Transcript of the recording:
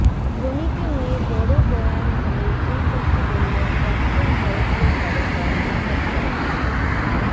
ধোনিকে নিয়ে বড়ো বয়ান দিয়ে এই কথা বললেন প্রাক্তন ভারতীয় তারকা মহম্মদ কাইফ